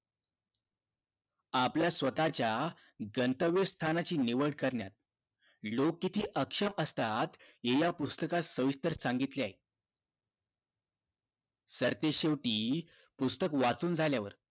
आपल्या स्वतःच्या गंतव्य स्थानाची निवड करण्यात लोक किती आक्षेप असतात हे या पुस्तकात सविस्तर सांगितले आहे सरतेशेवटी पुस्तक वाचून झाल्यावर